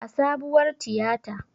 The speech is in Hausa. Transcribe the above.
A sabuwar tiyata